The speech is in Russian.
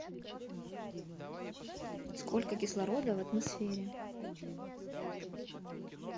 сколько кислорода в атмосфере